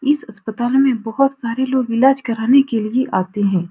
इस अस्पताल में बहुत सारे लोग इलाज कराने के लिए आते है।